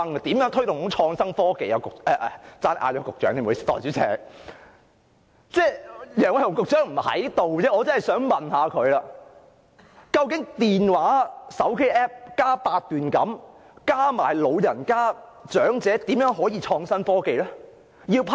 代理主席，可惜楊偉雄局長不在席，否則我真的想問他，究竟手機 App 加八段錦再加長者，是怎樣的創新科技呢？